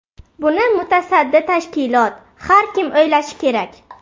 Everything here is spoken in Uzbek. Buni mutasaddi tashkilot, har kim o‘ylashi kerak.